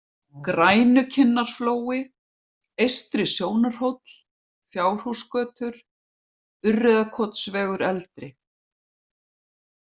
Grænukinnarflói, Eystri-Sjónarhóll, Fjárhúsgötur, Urriðakotsvegur eldri